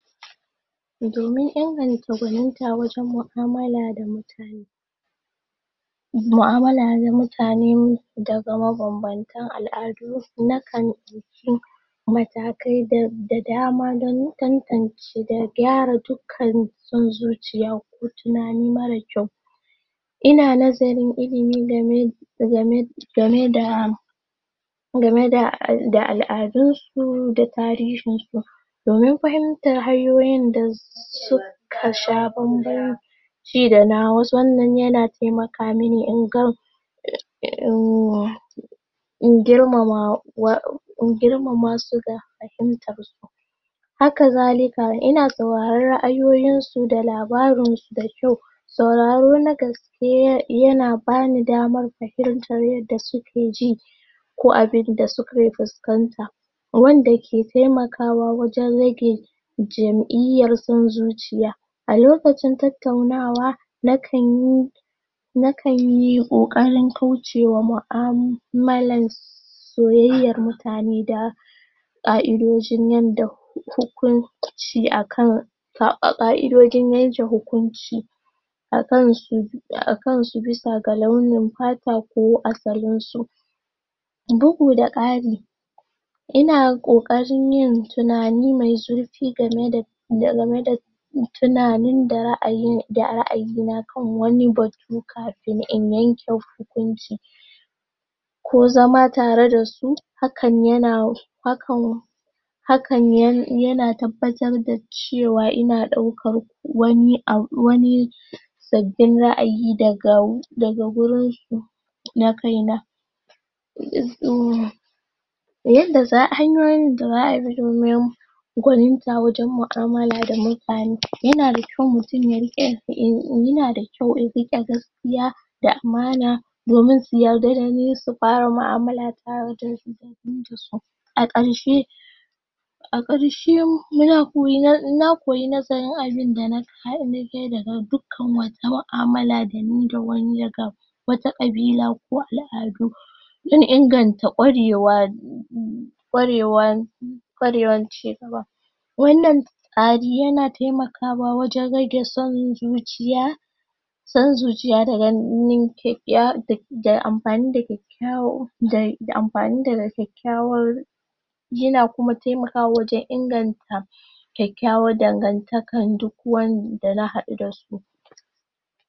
domin inganta kwaninta wajen maamula da mutane ma'amulla da mutane da ga mabanbantan al'adu na kan dauki matakai da dama dan tantance da kyara dukkan son zuciya ko tunani marar kyau ina nazarin ilimi game game game da game da al'adun su da tarihin su da tarihin su domin fahimtar hanyoyin da suka sha banban ci da nawa wan nan yana taimakamini hmmmm in girmama in girmama su da fahimtar su haka zalika ina sauraren raayoyin su da labarinsu da kyau sauraro na gaske yana bani damar fahimtar yadda suke ji ko abinda suke fiskanta wanda ke taimakawa wajen rage jamiyar san zuciya a lokacin tattaunawa na kan yi nakanyi kokarin kaucewa muamalan su soyayyan mutane da da kaidojin yadda hukunci akansu kaidojin yanke hukunci akan su, akan su bisa ga launin fata ko asalin su bugu da kari ina kokarin yin tunani mai zurfi game da game da tunani da raayina kan wani batu kafin in yanke hukunci ko zama tare da su, hakan yana, hakan hakan yana tabbatar da cewa ina daukan wani abu, wani sabin raayi daga, gurin su na kaina hmmmm hanyoyin da zaa bi domin kwaninta wajen maamunla da mutane yana kyau mutun ya rike gaskiya, yana da kyau in nrike gaskiya da amana domin su yadda da ni su fara maamulla tare da ni a karshe a karshe muna koyi nazarin abin da na, na koyi nazarin abin da na je, daga duk kan wata muamala da ni, da wani ya wata kabila, ko al'adu dan inganta kwarewa kwarewa kwarewan ci gaba wan nan tsari yana taimakawa wajen rage son zuciya son zuciya da ganin, ya haddace da anfani da kyakkwan aiki na uku dai, daga anfani da ga kyakkywan yana kuma taimakawa wajen inganta kyakkyawan dangantakan duk wani wanda na hadu dasu